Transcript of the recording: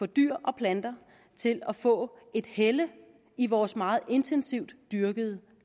dyr og planter til at få et helle i vores meget intensivt dyrkede